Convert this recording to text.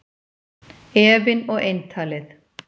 Efinn og eintalið